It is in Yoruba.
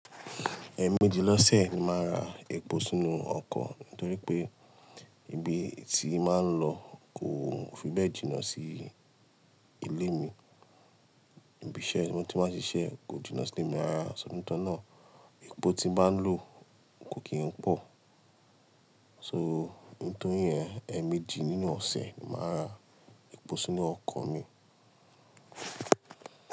Ẹẹ̀mẹjì lọ́sẹ̀ ni màá ra epo sínú ọkọ̀, nítorí pé ibi tí máa ń lọ kò fi bẹ́ẹ̀ jìnnà sí ilé mi. Ibi iṣẹ́ tí mo ti máa ń ṣiṣẹ́ kò jìnnà sí ilé mi.ṣ rara nítorí náà. Epo tí baa ń lò kò kí ń pọ̀. So, nítorí yẹn, ẹẹ̀mẹjì nínú ọ̀sẹ̀ ni màá ra epo sínú ọkọ̀ mi.